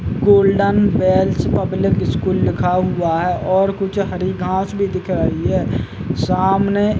Golden bells public school लिखा हुआ है और कुछ हरी घांस भी दिख रही है सामने।